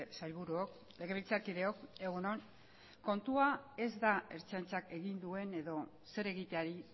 sailburuok legebiltzarkideok egun on kontua ez da ertzaintzak egin duen edo zer egiteari